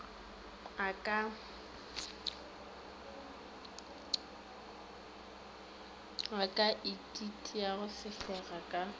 a ka ititiago sefega ka